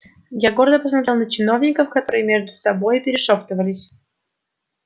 я гордо посмотрел на чиновников которые между собою перешёптывались